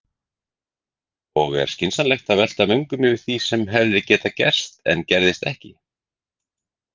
Og er skynsamlegt að velta vöngum yfir því sem hefði getað gerst en gerðist ekki?